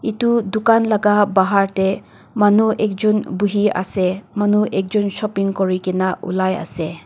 etu dukan laga bahar te manu ek jon bohi ase manu ekjon shopping kori kena ulai ase.